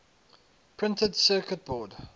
printed circuit board